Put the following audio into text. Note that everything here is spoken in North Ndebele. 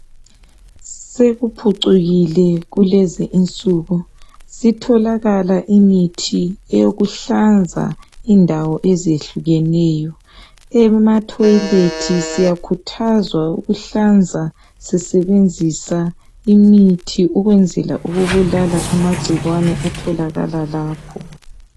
Sekuphucukile kulezinsuku, sitholakala imithi eyokuhlanza indawo ezehlukeneyo. Ematoilet siyakhuthazwa ukuhlanza sisebenzisa imithi ukwenzela ukubulala amagcikwane atholakala lapho.